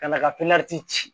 Ka na ka ci